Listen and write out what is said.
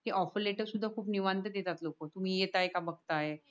कि offer letter खूप निवांत देतात लोक तुम्ही येतंय का बगताय.